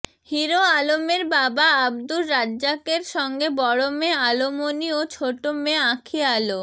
hero আলমের বাবা আব্দুর রাজ্জাকের সঙ্গে বড় মেয়ে আলোমনি ও ছোট মেয়ে আঁখি আলো